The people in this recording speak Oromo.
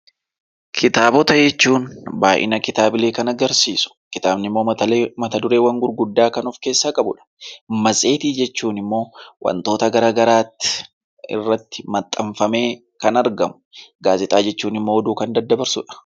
Kitaabota jechuun baay'ina kitaabilee kan agarsiisu kitaabni immoo mata-dureewwan gurguddaa kan of keessaa qabu dha. Matseetii jechuun immoo wantoota garaagaraatti irratti maxxanfamee kan argamu. Gaazexaa jechuun immoo oduu kan daddabarsuu dha.